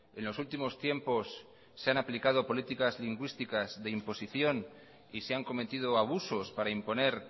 en los últimos tiempos se han aplicado políticas lingüísticas de imposición y se han cometido abusos para imponer